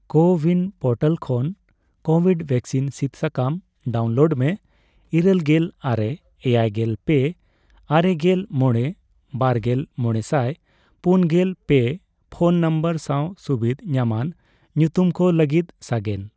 CoWIN portal ᱠᱷᱚᱱ covid vaccine ᱥᱤᱫ ᱥᱟᱠᱟᱢ ᱰᱟᱣᱩᱱᱞᱳᱰ ᱢᱮ ᱤᱨᱟᱹᱞ ᱜᱮᱞ ᱟᱨᱮ ,ᱮᱭᱟᱭᱜᱮᱞ ᱯᱮ ,ᱟᱨᱮᱜᱮᱞ ᱢᱚᱲᱮ ,ᱵᱟᱨᱜᱮᱞ ,ᱢᱚᱲᱮᱥᱟᱭ ᱯᱩᱱᱜᱮᱞ ᱯᱮ ᱯᱷᱚᱱ ᱱᱚᱢᱵᱚᱨ ᱥᱟᱣ ᱥᱩᱵᱤᱫᱷ ᱧᱟᱢᱟᱱ ᱧᱩᱛᱩᱢ ᱠᱚ ᱞᱟᱹᱜᱤᱫ ᱥᱟᱜᱮᱱ ᱾